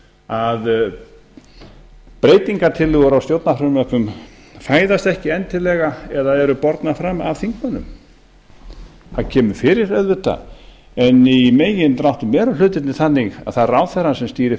að breytingartillögur á stjórnarfrumvörpum fæðast ekki endilega eða eru bornar fram af þingmönnum það kemur fyrir auðvitað en í megindráttum eru hlutirnir þannig að það er ráðherrann sem stýrir